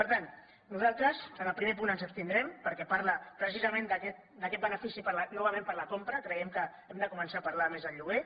per tant nosaltres en el primer punt ens abstindrem perquè parla precisament d’aquest benefici novament per a la compra creiem que hem de començar a parlar més del lloguer